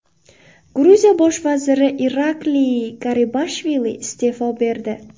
Gruziya bosh vaziri Irakliy Garibashvili iste’fo berdi.